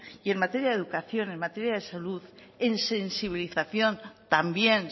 y en materia de educación en materia de salud en sensibilización también